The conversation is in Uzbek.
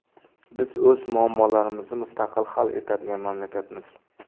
Biz o‘z muammolarini mustaqil hal etadigan mamlakatmiz.